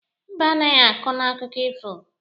Mbe anaghi akọ n'akụkụ ifo.